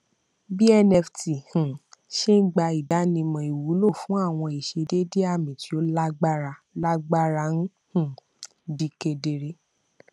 bí nft um ṣé ń gba ìdánimọ ìwúlò fún àwọn ìṣedédé àmì tí ó lágbára lágbára ń um di kédere